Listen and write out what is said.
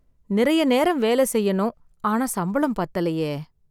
நிறைய நேரம் வேலை செய்யனும் ஆனா சம்பளம் பத்தலையே